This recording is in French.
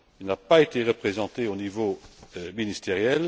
Il n'a pas été représenté au niveau ministériel